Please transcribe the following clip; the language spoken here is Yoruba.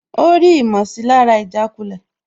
Ó rí ìmọ̀sílára ìjàkulẹ̀